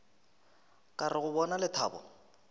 ka re go bona lethabo